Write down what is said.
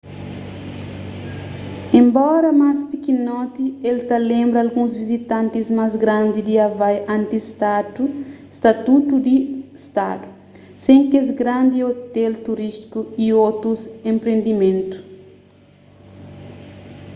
enbora más pikinoti el ta lenbra alguns vizitantis más grandi di havai antis statutu di stadu sen kes grandi ôtel turístiku y otus enpriendimentu